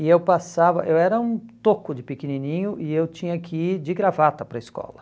E eu passava, eu era um toco de pequenininho e eu tinha que ir de gravata para a escola.